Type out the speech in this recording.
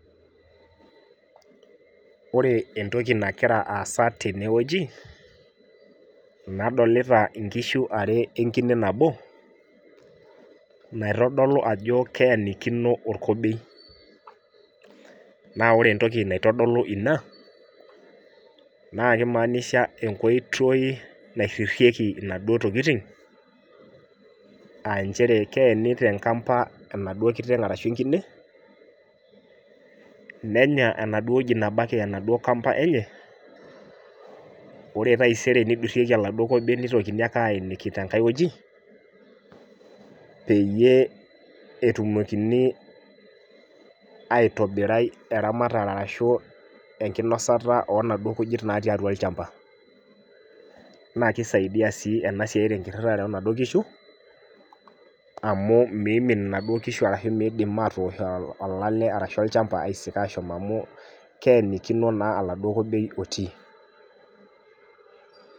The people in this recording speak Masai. Wore entoki nakira aasa tene wueji, nadolita inkishu ware wenkine nabo, naitodolu ajo keenikino orkobei. Naa wore entoki naitodolu inia, naa kimaanisha enkoitoi nairririeki inaduo tokitin, aa nchere keeni tenkampa enaduo kiteng arashu enkine, nenya enaduo woji nabaiki enaduo kamba enye, wore taisere nidurrieki oladuo kobei nitokini ake aeniki tenkae wueji, peyie etumokini aitobirai eramatare ashu enkinosata oo naduo kujit natii atua olshamba. Naa kisaidia sii ena siai tenkirrirare oonaduo kishu, amu miimim inaduo kishu arashu miidim aatosh olale arashu olchamba aisik aashom amu keenikino naa oladuo kobei otii.